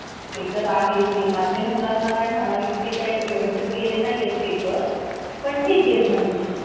तर sir हे payment का आपल्याला online आपल्या account मध्ये भेटेल का? का आपल्याला cash through भेटन? याचं काई सांगू शकता का तुम्ही payment चं?